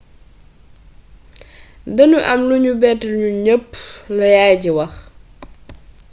danu amoon lu nu bett ñun ñepp la yaay ji wax